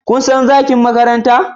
Kun san Zagin Makaranta?